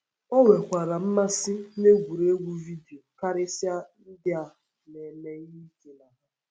O nwekwara mmasị n’egwuregwu vidio, karịsịa ndị a na - eme ihe ike na ha.